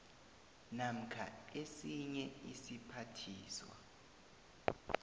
namkha esinye isiphathiswa